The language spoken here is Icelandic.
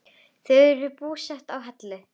Þau eru búsett á Hellu.